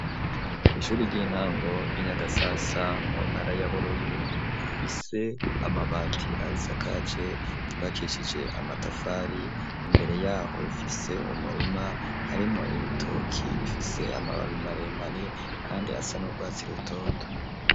Kw'ishuri ry'intango y'inyagasasa ,mu ntara ya bururi, rifise amabati ayisakaje, cubakicije amatafari imbere yaho, ifise umurima harimwo ibitoki ,bifise amababi maremare kandi asa n’urwatsi rutoto.